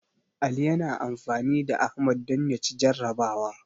Ali yana amfani da Ahmad don ya ci jarrabawa.